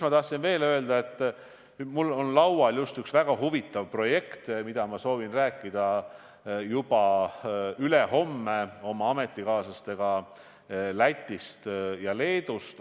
Ma tahtsin öelda veel seda, et mul on laual just üks väga huvitav projekt, millest ma soovin juba ülehomme rääkida oma ametikaaslastega Lätist ja Leedust.